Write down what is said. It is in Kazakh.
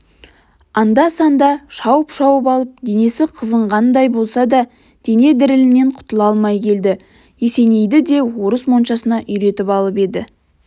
анда-санда шауып-шауып алып денесі қызынғандай болса да дене дірілінен құтыла алмай келді есенейді де орыс моншасына үйретіп алып еді